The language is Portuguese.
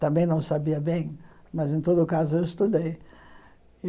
Também não sabia bem, mas, em todo caso, eu estudei.